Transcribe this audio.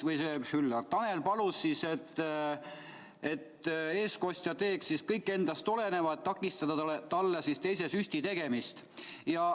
Tanel palus siis, et eestkostja teeks kõik endast oleneva, et takistada talle teise süsti tegemist.